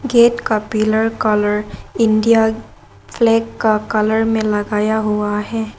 Gate का pillar colour India flag का colour में लगाया हुआ है।